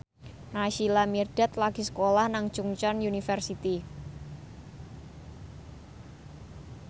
Naysila Mirdad lagi sekolah nang Chungceong University